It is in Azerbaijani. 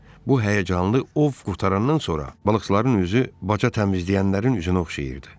Bu həyəcanlı ov qurtarandan sonra balıqçıların üzü baca təmizləyənlərin üzünə oxşayırdı.